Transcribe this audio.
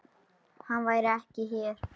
Hann væri ekki hér.